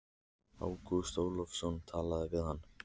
Ágúst Ólafsson talaði við hann.